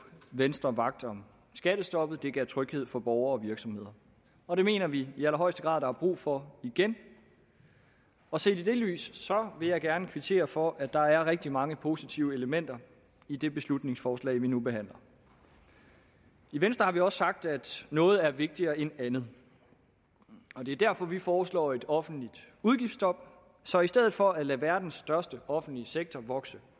venstre vagt om skattestoppet det gav tryghed for borgere og virksomheder og det mener vi i allerhøjeste grad der er brug for igen og set i det lys vil jeg gerne kvittere for at der er rigtig mange positive elementer i det beslutningsforslag vi nu behandler i venstre har vi også sagt at noget er vigtigere end andet og det er derfor vi foreslår et offentligt udgiftsstop så i stedet for at lade verdens største offentlige sektor vokse